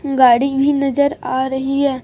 गाड़ी भी नजर आ रही है।